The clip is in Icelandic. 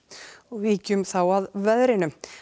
víkjum þá að veðri